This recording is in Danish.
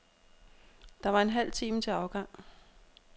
Der var en halv time til afgang.